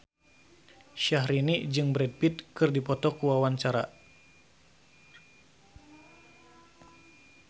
Syahrini jeung Brad Pitt keur dipoto ku wartawan